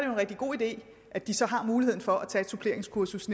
en rigtig god idé at de så har muligheden for at tage et suppleringskursus